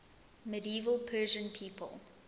medieval persian people